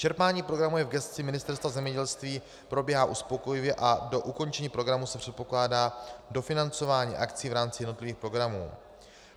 Čerpání programu je v gesci Ministerstva zemědělství, probíhá uspokojivě a do ukončení programu se předpokládá dofinancování akcí v rámci jednotlivých programů.